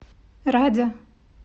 радя